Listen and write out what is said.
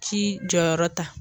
jɔyɔrɔ ta